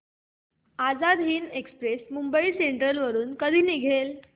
Azad Hind express Mumbai central वरून कधी निघेल